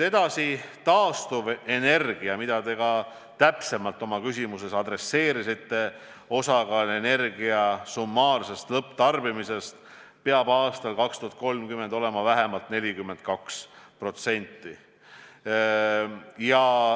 Edasi, taastuvenergia – mida te ka täpsemalt oma küsimuses nimetasite – osakaal energia summaarsest lõpptarbimisest peab aastal 2030 olema vähemalt 42%.